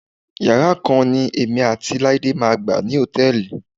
Yàrá kan ni èmi àti Láídé máa gbà ní hòtẹ́ẹ̀lì.